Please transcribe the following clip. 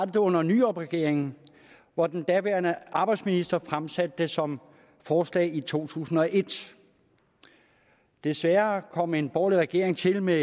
det under nyrupregeringen hvor den daværende arbejdsminister fremsatte det som forslag i to tusind og et desværre kom en borgerlig regering til med